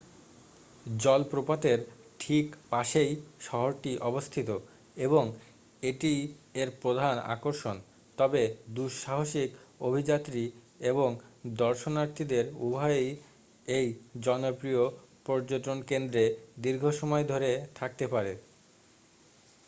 জলপ্রপাতের ঠিক পাশেই শহরটি অবস্থিত এবং এটিই এর প্রধান আকর্ষণ তবে দুঃসাহসিক অভিযাত্রী এবং দর্শনার্থীদের উভয়েই এই জনপ্রিয় পর্যটনকেন্দ্রে দীর্ঘসময় ধরে থাকতে পারে